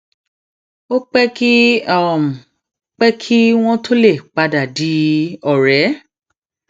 ó pé kí pé kí wón tó lè padà di òré